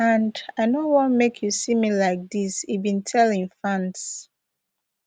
and i no want make you see me like dis e bin tell im fans